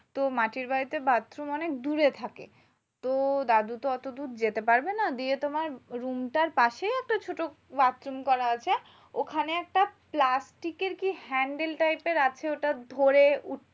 তো মাটির বাড়িতে bathroom অনেক দূরে থাকে। তো দাদু তো অতদূর যেতে পারবে না। দিয়ে তোমার room টার পাশে একটা ছোট bathroom করা আছে। ওখানে একটা প্লাস্টিকের কি handle type এর আছে ওটা ধরে